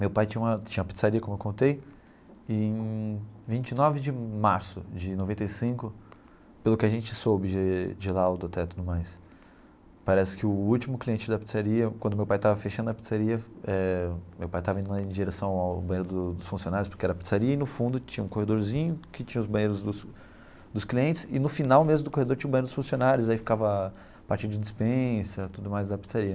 Meu pai tinha uma tinha uma pizzaria, como eu contei, e em vinte e nove de março de noventa e cinco, pelo que a gente soube de de laudo até tudo mais, parece que o último cliente da pizzaria, quando meu pai estava fechando a pizzaria, eh meu pai estava indo em direção ao banheiro dos dos funcionários, porque era a pizzaria, e no fundo tinha um corredorzinho que tinha os banheiros dos dos clientes, e no final mesmo do corredor tinha o banheiro dos funcionários, aí ficava a parte de dispensa, tudo mais, da pizzaria.